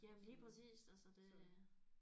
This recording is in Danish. Jamen lige præcis altså det